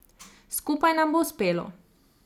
Skupaj nam bo uspelo.